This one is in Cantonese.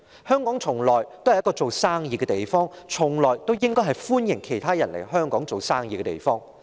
香港一直以來也是一個做生意的地方，一直以來也是歡迎其他人來港做生意的地方。